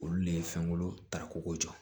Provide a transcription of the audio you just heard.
Olu le ye fɛnkolon tako ko jɔ